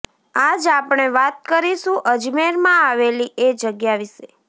આજ આપણે વાત કરીશું અજમેરમાં આવેલી એ જગ્યા વિશે